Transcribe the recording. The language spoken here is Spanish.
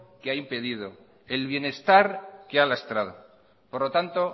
que ha impedido el bienestar que ha lastrado por lo tanto